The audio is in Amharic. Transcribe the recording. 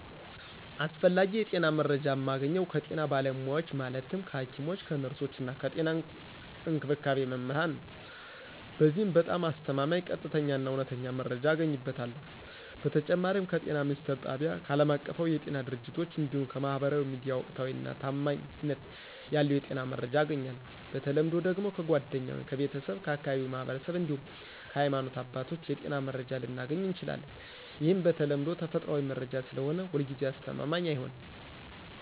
አስፈላጊ የጤና መረጃ ማገኘው ከጤና ባለሙያዎች ማለትም ከሐኪሞች፣ ከነርሶች እና ከጤና እንክብካቤ መምህራን ነዉ። በዚህም በጣም አስተማማኝ፣ ቀጥተኛ እና እውነተኛ መረጃ አገኝበታለሁ። በተጨማሪም ከጤና ሚኒስትር ጣቢያ፣ ከአለማቀፋዊ የጤና ድርጅቶች እንዲሁም ከማህበራዊ ሚዲያ ወቅታዊና ታማኝነት ያለው የጤና መረጃ አገኛለሁ። በተለምዶ ደግሞ ከጓደኛ ወይም ከቤተሰብ፣ ከአካባቢው ማህበረሰብ እንዲሁም ከሀይማኖት አባቶች የጤና መረጃ ልናገኝ እንችላለን። ይህም በተለምዶ ተፈጥሯዊ መረጃ ስለሆነ ሁልጊዜ አስተማማኝ አይሆንም።